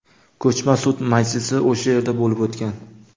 Ko‘chma sud majlisi o‘sha yerda bo‘lib o‘tgan.